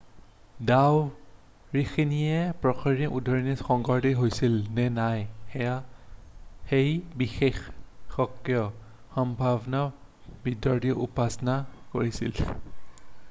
ডাৱৰখিনিয়ে প্ৰকৃততেই উদগীৰণ সংঘটিত হৈছিল নে নাই সেই বিষয়ে সম্ভাব্য বিভ্ৰান্তিৰ উপস্থাপনা কৰিছিল